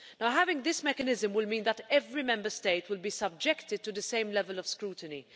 Having this mechanism will mean that every Member State will be subjected to the same level of scrutiny.